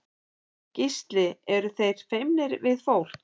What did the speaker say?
Gísli: Eru þeir feimnir við fólk?